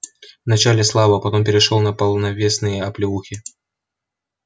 вначале слабо потом перешёл на полновесные оплеухи